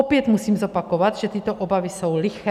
Opět musím zopakovat, že tyto obavy jsou liché.